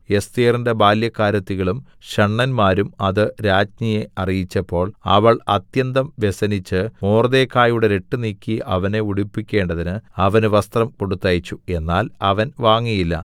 എസ്ഥേറിന്റെ ബാല്യക്കാരത്തികളും ഷണ്ഡന്മാരും അത് രാജ്ഞിയെ അറിയിച്ചപ്പോൾ അവൾ അത്യന്തം വ്യസനിച്ച് മൊർദെഖായിയുടെ രട്ട് നീക്കി അവനെ ഉടുപ്പിക്കേണ്ടതിന് അവന് വസ്ത്രം കൊടുത്തയച്ചു എന്നാൽ അവൻ വാങ്ങിയില്ല